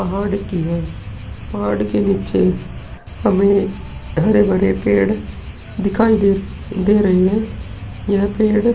पहाड़ की है। पहाड़ के नीचे हमें हरे-भरे पेड़ दिखाई दे रहे हैं। यह पेड़ --